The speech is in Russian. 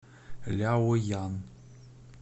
ляоян